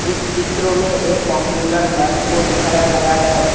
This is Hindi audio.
इस चित्रों में एक कंप्यूटर लैब को दिखाया गया हैं।